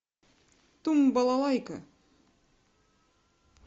тум балалайка